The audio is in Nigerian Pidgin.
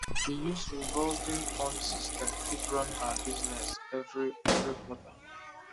she use revolving fund system take run her business every every quarter